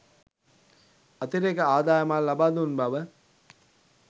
අතිරේක අදායමක් ලබාදුන් බව